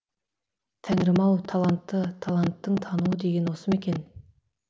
тәңірім ау талантты таланттың тануы деген осы ма екен